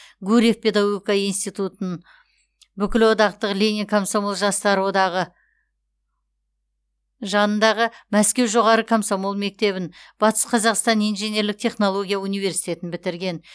гурьев педагогика институтын бүкілодақтық ленин комсомол жастары одағы жанындағы мәскеу жоғары комсомол мектебін батыс қазақстан инженерлік технология университетін бітірген